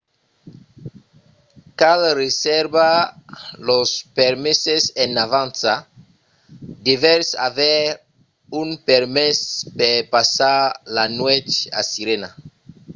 cal reservar los permeses en avança. devètz aver un permés per passar la nuèch a sirena